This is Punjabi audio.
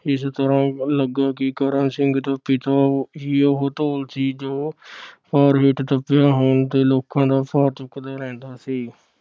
ਇਸ ਤਰ੍ਹਾਂ ਲਗਾ ਕਿ ਕਰਮ ਸਿੰਘ ਦਾ ਪਿਤਾ ਹੀ ਉਹ ਧੌਲ ਸੀ, ਜੋ ਭਾਰ ਹੇਠ ਦਬਿਆ ਹੋਣ ਤੇ ਲੋਕਾਂ ਦਾ ਚੁੱਕਦਾ ਰਹਿੰਦਾ ਸੀ।